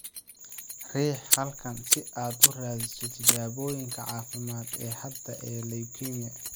Riix halkan si aad u raadiso tijaabooyinka caafimaad ee hadda ee leukemia.